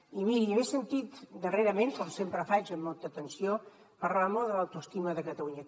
i miri l’he sentit darrerament com sempre faig amb molta atenció parlar molt de l’autoestima de catalunya